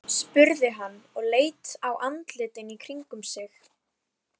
spurði hann og leit á andlitin í kringum sig.